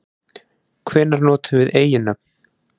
Hvenær notum við eiginnöfn?